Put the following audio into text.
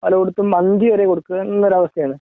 പലർക്കും അഞ്ചുവരെയേ കൊടുക്കുന്ന ഒരവസ്ഥയാണ്